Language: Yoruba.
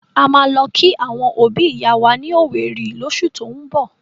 A máa lọ kí àwọn òbi ìyá wa ní owerri llósù tín bọ̀.